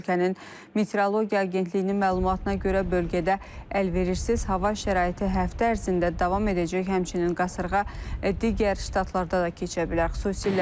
Ölkənin Metrologiya Agentliyinin məlumatına görə bölgədə əlverişsiz hava şəraiti həftə ərzində davam edəcək, həmçinin qasırğa digər ştatlarda da keçə bilər.